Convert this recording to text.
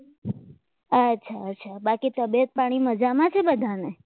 અચ્છા અચ્છા બાકી તબિયત પાણી મજામાં છે બધાને?